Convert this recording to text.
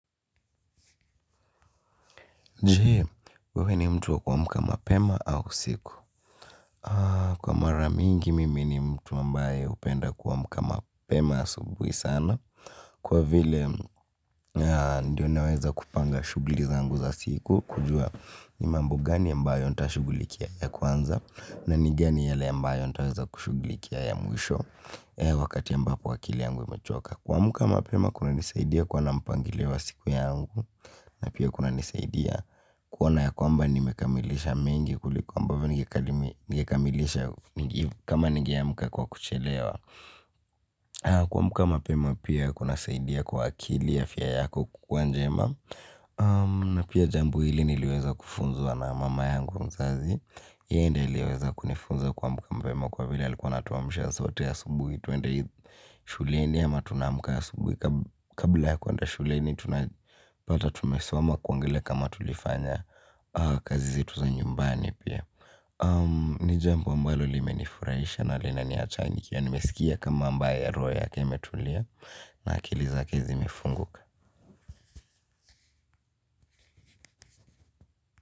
Jee wewe ni mtu wa kwa amka mapema au usiku? Kwa maramingi mimi ni mtu ambaye hupenda kwa amka mapema asubuhi sana. Kwa vile ndio naweza kupanga shughuli zangu za siku, kujua ni mambo gani ambayo nitashughulikia ya kwanza. Na ni gani yale ambayo nitaweza shughulikia ya mwisho. Wakati ambapo akili yangu imechoka kwa amka mapema kuna nisaidia kuwa na mpangilio wa siku yangu. Na pia kuna nisaidia kuona ya kwamba nimekamilisha mengi kulikuwa ambavyo ningekamilisha kama ningeamka kwa kuchelewa. Kwa amka mapema pia kuna saidia kwa akili afya yako kukua njema. Na pia jambo hili niliweza kufunzwa na mama yangu mzazi. Yeye ndiye aliweza kunifunza ku amka mapema kwa vile alikuwa anatu amsha sote asubuhi twende shuleni ama tunamka asubuhi kabla ya kwenda shuleni pata tumesoma kuangalia kama tulifanya kazi zetu za nyumbani pia. Ni jambo ambalo limenifurahisha na lina niacha nikiwa nimesikia kama ambaye roho yake imetulia. Na akili zake zimefunguka.